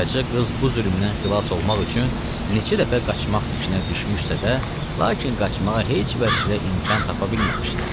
Qaraca qız bu zülmdən xilas olmaq üçün neçə dəfə qaçmaq fikrinə düşmüşsə də, lakin qaçmağa heç vəchlə imkan tapa bilməmişdi.